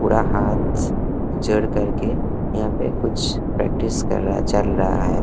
पूरा हाथ जोड़ करके यहां पे कुछ प्रैक्टिस कर रहा चल रहा है।